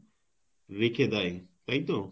রেখে দেয় তাইতো ,